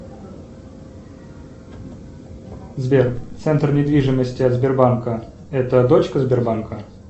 сбер центр недвижимости от сбербанка это дочка сбербанка